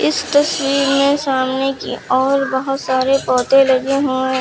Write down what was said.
इस तस्वीर में सामने की और बहुत सारे पौधे लगे हुए हैं।